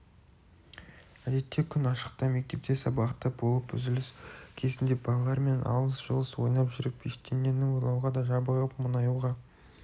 әдетте күн ашықта мектепте сабақта болып үзіліс кезінде балалармен алыс-жұлыс ойнап жүріп ештеңені ойлауға да жабығып мұңаюға